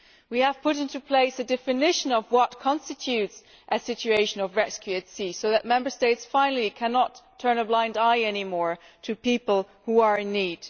We have put into place a definition of what constitutes a situation of rescue at sea so that Member States finally cannot turn a blind eye any more to people who are in need.